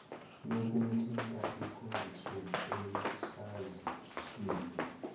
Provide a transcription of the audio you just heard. yokumthinta ikhonjiswe esazisweni